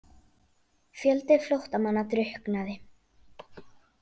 Fjöldi flóttamanna drukknaði